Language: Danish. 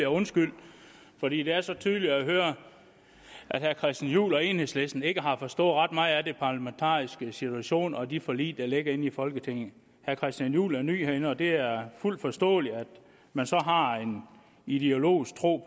undskyldt fordi det er så tydeligt at høre at herre christian juhl og enhedslisten ikke har forstået ret meget af den parlamentariske situation og de forlig der ligger i folketinget herre christian juhl er ny herinde og det er fuldt forståeligt at man så har en ideologisk tro